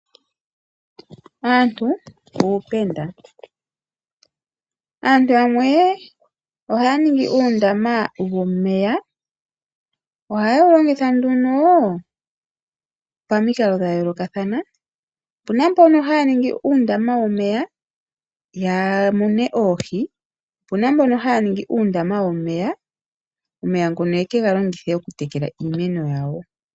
Aantu uupenda. Aantu yamwe ohaya ningi uundama womeya. Ohaye wu longitha nduno pamikalo dha yoolokathana. Opu na mbono haya ningi uundama womeya ya mune oohi. Opu na mbono haya ningi uundama womeya, omeya ngono ye ke ga longithe okutekela iimeno yawo.